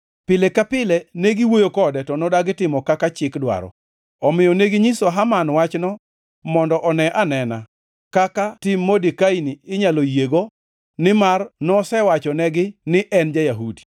Pile ka pile ne giwuoyo kode, to nodagi timo kaka chik dwaro. Omiyo neginyiso Haman wachno mondo one anena kaka tim Modekai-ni inyalo yiego nimar nosewachonegi ni en ja-Yahudi.